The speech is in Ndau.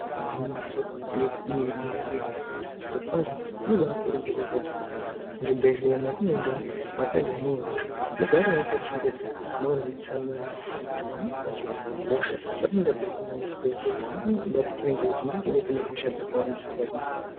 Gwinyiso yemene mene zvirokwazvo zvinobakurudzirwa kuti muzvibhedhlera mwatinoenda umwu, mwatinoenda kundohine hosha mugarewo mwakashongedzwa mwune utsanana, nenyaya yekuti pamweni pacho hosha patinoenda kundohine kuzvibhedhlera dzinotobatikira ngekuti ndokunenge kune hosha dzakawandisa kazhinji kacho.